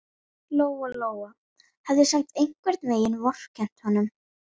Lóa-Lóa hafði samt einhvern veginn vorkennt honum.